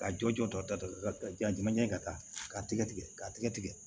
Ka jɔ jɔda ɲɛ ka taa k'a tigɛ tigɛ k'a tigɛ tigɛ